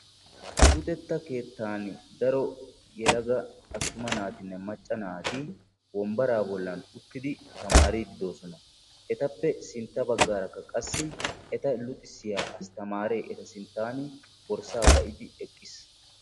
Luxetta keetani daro yelaga attuma naatine macca naati taamaridi bettosona qassika ettape sintta bagar etta luxxisiya astamare borssa ba"idi eqqiis.